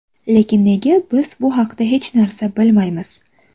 Lekin nega biz bu haqda hech narsa bilmaymiz?